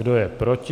Kdo je proti?